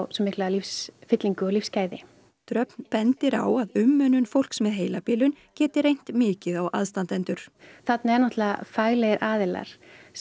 svo mikla lífsfyllingu og lífsgæði dröfn bendir á að umönnun fólks með heilabilun geti reynt mikið á aðstandendur þarna eru faglegir aðilar